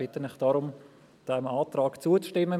Ich bitte Sie deshalb, diesem Antrag zuzustimmen.